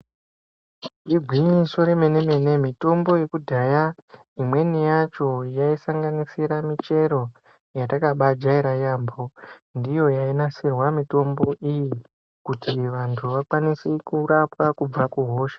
Igwinyiso remene-mene, mitombo yekudhaya imweni yacho yaisanganisira michero yatakabajaira yaambo. Ndiyo yainasirwa mitombo iyi kuti vantu vakwanise kurapwa kubva kuhosha.